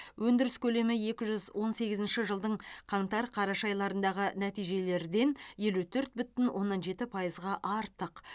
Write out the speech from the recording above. өндіріс көлемі екі мың он сегізінші жылдың қаңтар қараша айларындағы нәтижелерден елу төрт бүтін оннан жеті пайызға артық